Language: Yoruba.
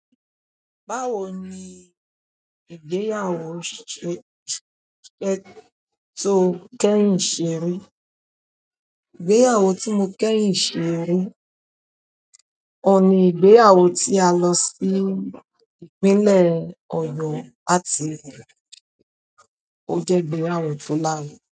Báwo ni ìgbéyàwó tó kẹ́rùn ìṣeré, ìgbéyàwó tí mo kẹ́yin seri, ọ̀un ní ìgbéyàwó tí a lọ sí ìpínlẹ̀ Oyo láti ò je ìgbéyàwó to larinrin.